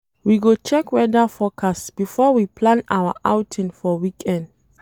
We go check weather forecast before we plan our outing for weekend.